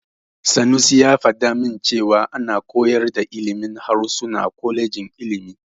Sanusi ya faɗa min cewa ana koyar da ilimin harsuna a kwalejin ilimi.